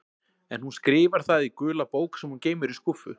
En hún skrifar það í gula bók sem hún geymir í skúffu.